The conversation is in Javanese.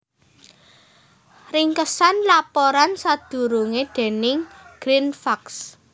Ringkesan laporan sadurungé déning GreenFacts